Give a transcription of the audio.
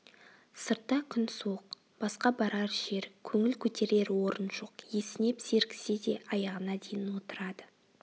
сыртта күн суық басқа барар жер көңіл көтерер орын жоқ есінеп зеріксе де аяғына дейін отырады